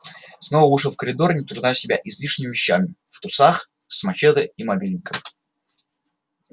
снова вышел в коридор не утруждая себя излишними вещами в трусах с мачете и мобильником